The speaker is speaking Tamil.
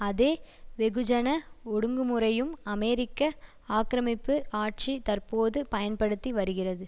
அதே வெகுஜன ஒடுங்குமுறையும் அமெரிக்க ஆக்கிரமிப்பு ஆட்சி தற்போது பயன்படுத்தி வருகிறது